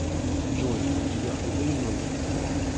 джой у тебя худые ноги